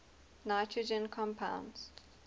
nitrogen compounds